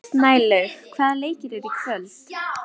Snælaug, hvaða leikir eru í kvöld?